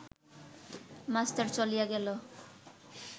master চলিয়া গেল